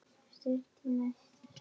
Stutt í næsta smók.